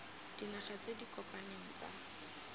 dinaga tse di kopaneng tsa